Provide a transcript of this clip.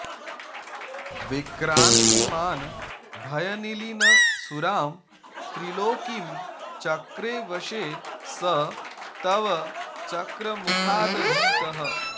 विक्रान्तिमान् भयनिलीनसुरां त्रिलोकीं चक्रे वशे स तव चक्रमुखादभीतः